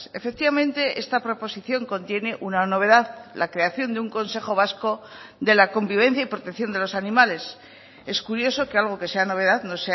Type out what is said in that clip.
efectivamente esta proposición contiene una novedad la creación de un consejo vasco de la convivencia y protección de los animales es curioso que algo que sea novedad no